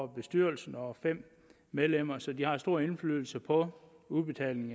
bestyrelsen og fem medlemmer så de har stor indflydelse på udbetaling